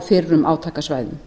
á fyrrum átakasvæðum